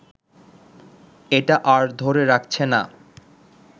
এটা আর ধরে রাখছে না